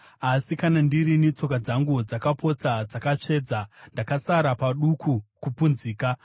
Asi kana ndirini, tsoka dzangu dzakapotsa dzatsvedza; ndakasara paduku kupunzika.